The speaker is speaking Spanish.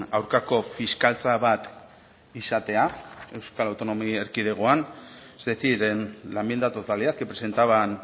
aurkako fiskaltza bat izatea euskal autonomia erkidegoan es decir en la enmienda a la totalidad que presentaban